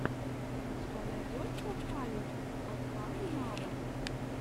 у тебя найдется халех адхами нава